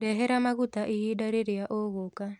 Ndehera mũgate ihinda rĩrĩa ũgũka